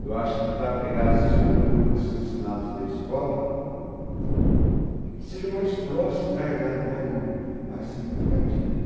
Então eu acho que a gente precisa pegar esses conteúdos que são ensinados na escola e que sejam mais próximos da do aluno, mais significativos.